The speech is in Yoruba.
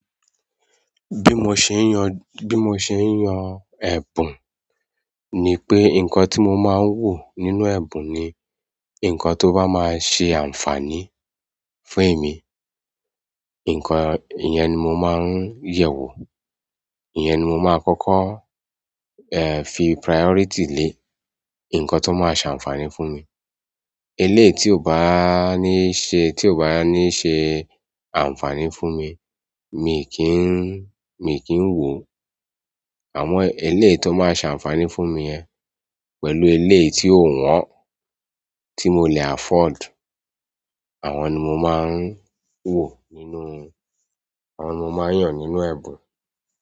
Bí mo ṣe ń yan, bí mo ṣe ń yan ẹ̀bùn ni pé nǹkan tí mo máa ń wò nínú ẹ̀bùn ni nǹkan tó bá máa ṣe ànfàní fún emí, nǹkan, ìyẹn ni mo máa ń yẹ̀wò, ìyẹn ni mo máa kọ́kọ́, eh, fi priority lé, nǹkan tó máa ṣe ànfàní fún mi. Eléyìí tí ò bá ní ṣe, tí ò bá ní ṣe ànfàní fún mi, mi kí ń, mi kí ń wo. Àmọ́ eléyìí tó máa ṣe ànfàní fún mi yẹ, pẹ̀lú eléyìí tí ò wọ́n, tí mo lè afford, àwọn ni mo máa ń wò nínú, àwọn mo máa ń yàn nínú ẹ̀bùn.